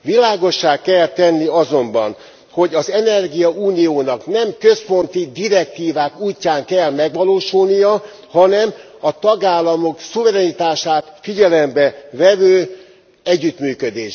Világossá kell tenni azonban, hogy az energiauniónak nem központi direktívák útján kell megvalósulnia, hanem a tagállamok szuverenitását figyelembe vevő együttműködésben.